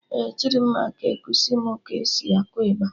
Ee, Chidimma ga-ekusi mụ ka e si akụ ịgba